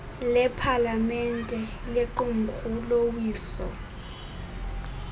lepalamente lequmrhu lowiso